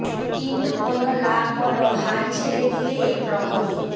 কিন্তু কোন লাভ বল হাল ছেড়ে দিলে এ প্রহরে